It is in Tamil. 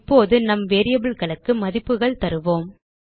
இப்போது நம் variableகளுக்கு மதிப்புகள் தருவோம்